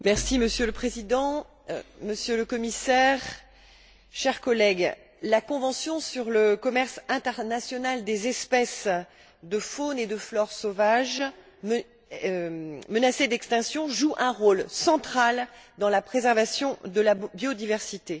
Monsieur le Président, Monsieur le Commissaire, chers collègues, la convention sur le commerce international des espèces de faune et de flore sauvage menacées d'extinction joue un rôle central dans la préservation de la biodiversité.